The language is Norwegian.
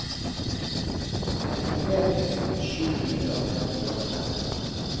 femtitre tusen sju hundre og trettiåtte